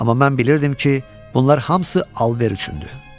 Amma mən bilirdim ki, bunlar hamısı alver üçündür.